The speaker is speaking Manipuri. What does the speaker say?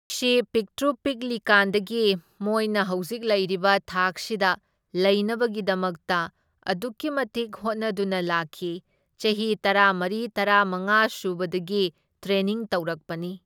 ꯄꯤꯛꯇ꯭ꯔꯨ ꯄꯤꯛꯂꯤꯀꯥꯟꯗꯒꯤ ꯃꯣꯏꯅ ꯍꯧꯖꯤꯛ ꯂꯩꯔꯤꯕ ꯊꯥꯛꯁꯤꯗ ꯂꯩꯅꯕꯒꯤꯗꯃꯛꯇ ꯑꯗꯨꯛꯀꯤ ꯃꯇꯤꯛ ꯍꯣꯠꯅꯗꯨꯅ ꯂꯥꯛꯈꯤ, ꯆꯍꯤ ꯇꯔꯥꯃꯔꯤ ꯇꯔꯥꯃꯉꯥ ꯁꯨꯕꯗꯒꯤ ꯇ꯭ꯔꯦꯅꯤꯡ ꯇꯧꯔꯛꯄꯅꯤ꯫